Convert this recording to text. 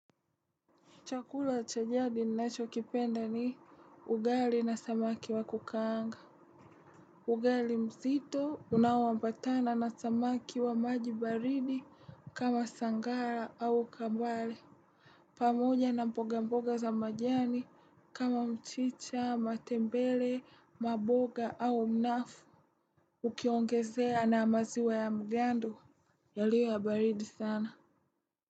Chakula cha jadi ninacho kipenda ni ugali na samaki wa kukaanga. Ugali mzito unawomabatana na samaki wa maji baridi kama sangara au kambale. Pamoja na mboga mboga za majani kama mchicha matenbele mamboga au mnafu. Ukiongezea na amaziwa ya magndo yaliyo ya baridi sana.